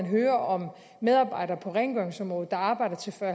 hører om medarbejdere på rengøringsområdet der arbejder til fyrre